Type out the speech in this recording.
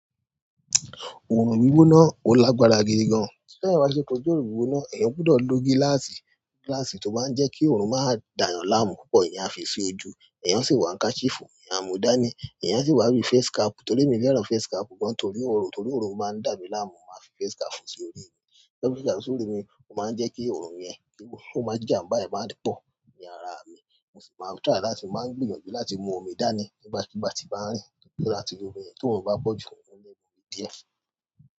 Òòrùn gbígbóná ó lágbára gidi gan. Téèyàn bá ti fẹ́ kojú oòrùn gbígbóná, èèyàn gbúdọ̀ lo gíláàsì. Gíláàsì tó máa ń jẹ́ kí òòrùn má dà yàn láàmú púpọ̀, èèyàn á fi sí ojú. Èèyàn á sì wá ká handkerchief, èèyàn á mu dání. Èèyàn á sì wá bí face cap. To r'émi fẹ́ràn face cap gan-an torí oòrùn, torí oòrùn máa ń dà mí láàmú, màá fi face cap sí orí. Lẹ́kí fésikápù sí orí mi, ó máa ń jẹ́ kí òòrùn yẹn wíwú, ó máa ń mú kí jàǹbá yẹn má pọ̀ ní ara mi. Mo sì máa ń try láti n máa ń gbìyànjú láti mú omi dání nígbàkúùgbà tí bá ń rìn torí pé láti lo omi yẹn, tí òòrùn bá pọ̀ jù, mo lè mu omi díẹ̀.